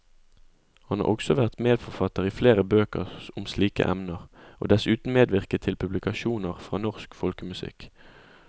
Han har også vært medforfatter i flere bøker om slike emner, og dessuten medvirket til publikasjoner fra norsk folkemusikk.